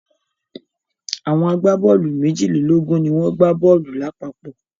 Àwọn agbá-bọ́ọ́lù méjìlélógún ni wọ́n gbá bọ́ọ́lù lápapọ̀.